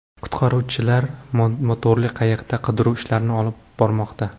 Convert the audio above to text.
Qutqaruvchilar motorli qayiqda qidiruv ishlarini olib bormoqda.